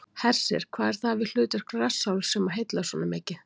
Hersir: Hvað er það við hlutverk rassálfs sem að heillar svona mikið?